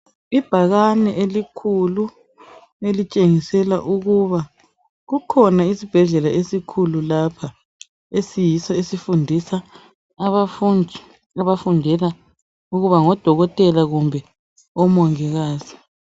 Ibhakane elikhulu elitshengisela ukuba kukhona isbhedlela esikhulu lapha esiyiso esifundisa abafundi abafundela ukuba ngo dokotela kumbe omongikazi.